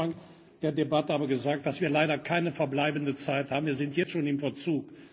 Ich habe am Anfang der Debatte aber gesagt, dass wir leider keine verbleibende Zeit haben. Wir sind jetzt schon im Verzug.